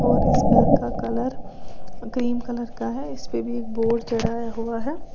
और इस घर का कलर ग्रीन कलर का है इसपे भी एक बोर्ड चढ़ाया हुआ है।